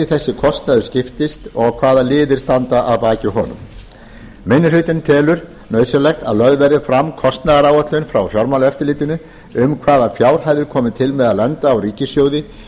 þessi kostnaður skiptist og hvaða liðir standa að baki honum minni hlutinn telur nauðsynlegt að lögð verði fram kostnaðaráætlun frá fjármálaeftirlitinu um hvaða fjárhæðir komi til með að lenda á ríkissjóði